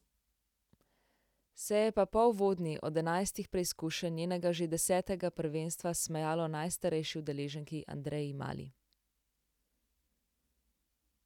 Se je pa po uvodni od enajstih preizkušenj njenega že desetega prvenstva smejalo najstarejši udeleženki Andreji Mali.